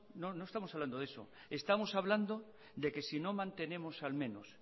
no no estamos hablando de eso estamos hablando de que sino mantenemos al menos